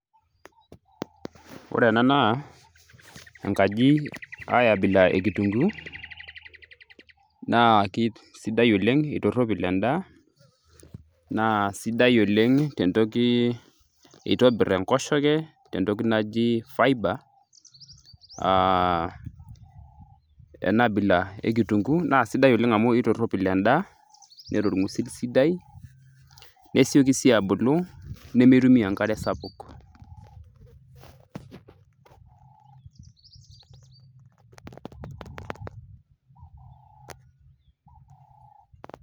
ore ena naa enkaji ae abila e kitunguu naa kisidai oleng itorropil endaa naa sidai oleng tentoki itobirr enkoshoke tentoki naji fibre aa ena abila e kitunguu naa sidai oleng amu itorropil endaa neeta orng'usil sidai nesioki sii abulu nemeitumia enkare sapuk.